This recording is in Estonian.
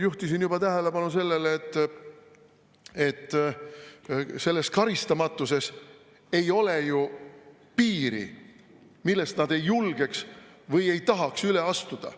Juhtisin juba tähelepanu sellele, et selles karistamatuses ei ole ju piiri, millest nad ei julgeks või ei tahaks üle astuda.